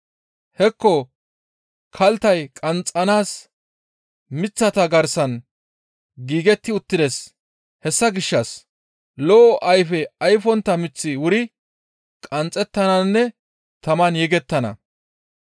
Hekko kalttay qanxxanaas miththata garsan giigetti uttides; hessa gishshas lo7o ayfe ayfontta miththi wuri qanxxettananne taman yegettana.